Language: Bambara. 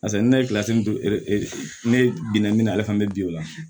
Paseke ne ye don ne bina min na ale fɛnɛ be bi o la